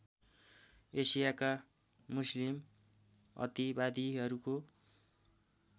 एसियाका Muslim अतिवादीहरूको